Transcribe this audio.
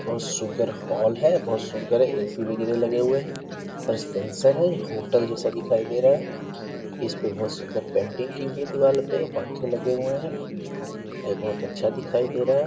बहोत सुंदर हॉल है बहोत सुंदर ए सी वगैरह भी लगी हुए है और सेंसर है और होटल जैसा दिखाई दे रहा है। इस पर बहोत सुंदर पेंटिंग की हुई है दीवाल पे पंखे लगे हुए हैं और बहोत अच्छा दिखाई दे रहा है।